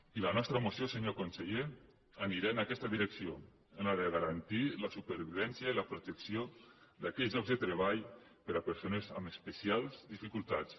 i la nostra moció senyor conseller anirà en aquesta direcció en la de garantir la supervivència i la protec·ció d’aquells llocs de treball per a persones amb espe·cials dificultats